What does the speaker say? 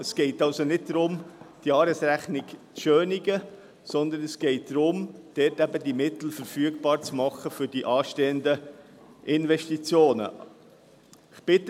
Es geht also nicht darum, die Jahresrechnung zu schönen, sondern es geht darum, die Mittel für die anstehenden Investitionen verfügbar zu machen.